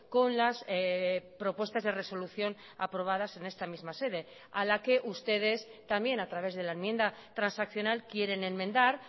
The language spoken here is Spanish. con las propuestas de resolución aprobadas en esta misma sede a la que ustedes también a través de la enmienda transaccional quieren enmendar